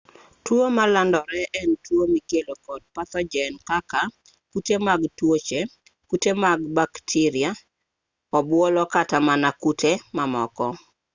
tuo malandore en tuo mikelo kod pathojen kaka kute mag tuoche kute mag bakteria obuolo kata mana kute mamoko